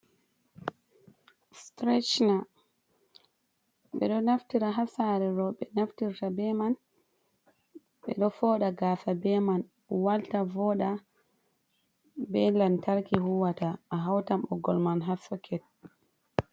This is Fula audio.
Strechner ɓe ɗo naftira ha sare roɓɓe naftirta be man, ɓe ɗo foɗa gasa be man walta, voɗa, be lantarki huwata a hautan ɓoggole man ha soket.